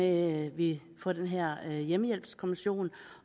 at vi får den her hjemmehjælpskommission